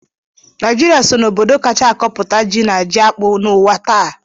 Naijiria so n'obodo kacha akọputa ji na jiakpụ n'ụwa taa